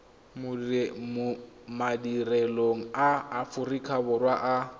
madirelong a aforika borwa a